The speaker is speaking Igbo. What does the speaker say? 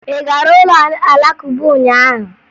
Ị gara ụlọ Alakụba ụnyaahụ?